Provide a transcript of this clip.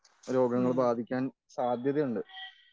രോഗങ്ങൾ ബാധിക്കാൻ സാധ്യതയുണ്ട്.